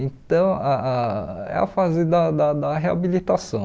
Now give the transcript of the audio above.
Então, ah ah é a fase da da da reabilitação.